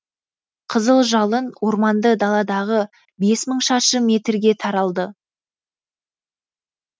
қызыл жалын орманды даладағы бес мың шаршы метрге таралды